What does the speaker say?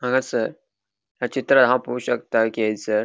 हांगासर या चित्रात हांव पोळो शकता कि हयसर ----